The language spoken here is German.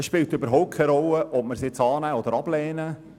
Es spielt überhaupt keine Rolle, ob wir den Antrag annehmen oder nicht.